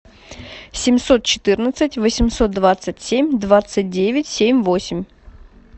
семьсот четырнадцать восемьсот двадцать семь двадцать девять семь восемь